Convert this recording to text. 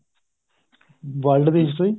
world ਦੀ history